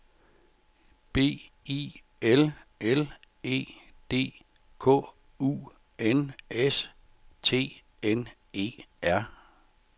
B I L L E D K U N S T N E R